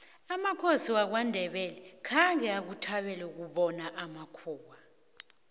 amakhosi wamandebele khange akuthabele ukubona amakhuwa